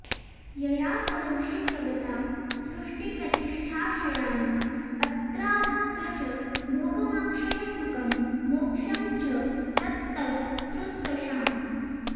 यया करोषि जगतां सृष्टिप्रतिष्ठाक्षयान् अत्रामुत्र च भोगमक्षयसुखं मोक्षं च तत्तत्तृषाम्